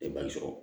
Tɛ ban sɔrɔ